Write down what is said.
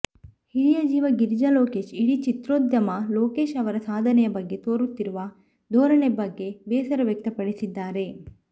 ಹಿರಿಯ ಜೀವ ಗಿರಿಜಾ ಲೋಕೇಶ್ ಇಡೀ ಚಿತ್ರೋದ್ಯಮ ಲೋಕೇಶ್ ಅವರ ಸಾಧನೆಯ ಬಗ್ಗೆ ತೋರುತ್ತಿರುವ ಧೋರಣೆ ಬಗ್ಗೆ ಬೇಸರ ವ್ಯಕ್ತಪಡಿಸಿದ್ದಾರೆ